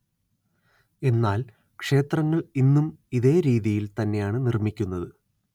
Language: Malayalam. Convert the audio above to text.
എന്നാല്‍ ക്ഷേത്രങ്ങള്‍ ഇന്നും ഇതേ രീതിയില്‍ തന്നെയാണ്‌ നിര്‍മ്മിക്കുന്നത്